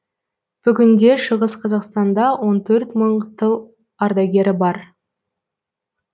бүгінде шығыс қазақстанда он төрт мың тыл ардагері бар